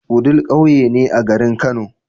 wudil ƙauye ne a garin kano